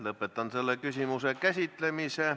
Lõpetan selle küsimuse käsitlemise.